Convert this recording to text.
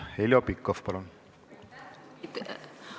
Heljo Pikhof, palun!